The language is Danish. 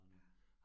Ja